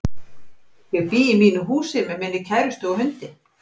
Ég bý í mínu húsi með minni kærustu og hundi.